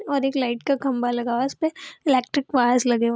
और एक लाइट का खम्बा लगा है उसपे इलेक्ट्रिक वायर लगे हुए --